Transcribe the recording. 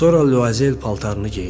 Sonra Lyuazel paltarını geydi.